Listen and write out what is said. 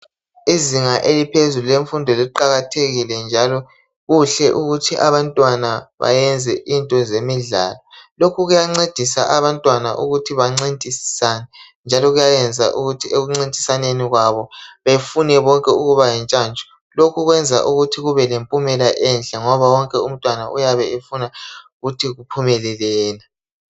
Izinga eliphezulu lemfundo liqakathekile njalo kuhle ukuthi abantwana bayenze into zemidlalo. Lokhu kuyancedisa abantwana ukuthi bancintisane njalo kuyayenza ukuthi ekuncitisaneni kwabo befune bonke ukuba yintshantshu. Lokhu kwenza ukuthi kube pempumela enhle ngoba wonke umntwana uyabefuna ukuthi kuphumelele yena.